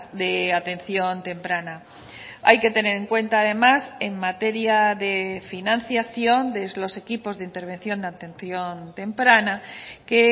de atención temprana hay que tener en cuenta además en materia de financiación de los equipos de intervención de atención temprana que